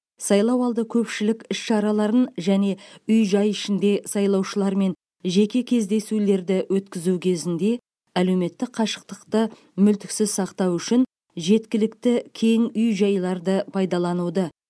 сайлау алды көпшілік іс шараларын және үй жай ішінде сайлаушылармен жеке кездесулерді өткізу кезінде әлеуметтік қашықтықты мүлтіксіз сақтау үшін жеткілікті кең үй жайларды пайдалануды